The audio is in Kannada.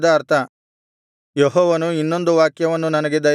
ಯೆಹೋವನು ಇನ್ನೊಂದು ವಾಕ್ಯವನ್ನು ನನಗೆ ದಯಪಾಲಿಸಿದನು